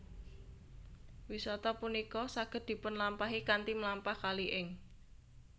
Wisata punika saged dipunlampahi kanthi mlampah kali ing